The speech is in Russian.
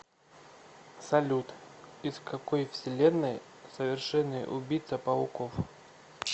салют из какой вселенной совершенный убийца пауков